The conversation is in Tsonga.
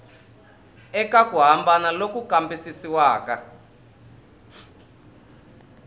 eka ku hambana loku kambisisiwaka